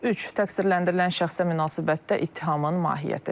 Üç, təqsirləndirilən şəxsə münasibətdə ittihamın mahiyyəti.